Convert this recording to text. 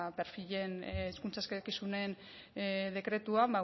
hizkuntza eskakizunen dekretuan